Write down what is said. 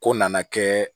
Ko nana kɛ